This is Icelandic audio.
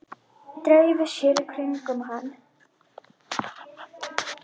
Dreifi sér í kringum hann.